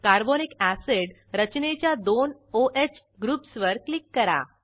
carbonic acid रचनेच्या दोन o ह ग्रुप्सवर क्लिक करा